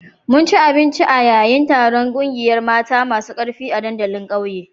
Mun ci abinci a yayin taron kungiyar mata masu karfi a dandalin ƙauyen